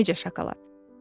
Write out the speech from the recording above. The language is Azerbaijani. Özü də necə şokolad!